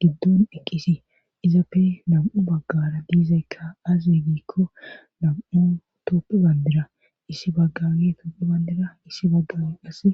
giddon eqqisi izappe nam7u baggara dizaykka aaze giikko nam7u toophe banddira issi baggaage toophe banddira issi baggaage qassi .